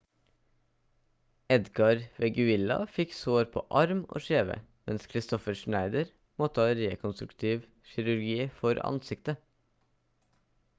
edgar veguilla fikk sår på arm og kjeve mens kristoffer schneider måtte ha rekonstruktiv kirurgi for ansiktet